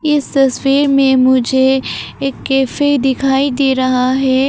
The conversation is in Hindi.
इस तस्वीर में मुझे एक कैफे दिखाई दे रहा है।